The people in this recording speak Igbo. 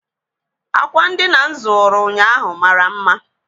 Ákwà ndịna m zụrụ ụnyaahụ mara mma.